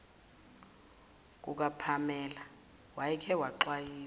kukapamela wayeke waxwayisa